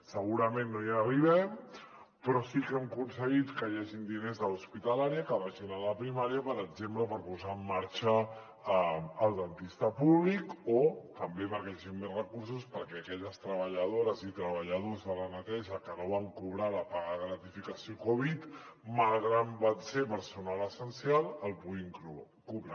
segurament no hi arribem però sí que hem aconseguit que hi hagin diners de l’hospitalària que vagin a la primària per exemple per posar en marxa el dentista públic o també perquè hi hagin més recursos perquè aquelles treballadores i treballadors de la neteja que no van cobrar la paga de gratificació covid malgrat que van ser personal essencial la puguin cobrar